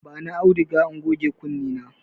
Bani auduga in goge kunne na.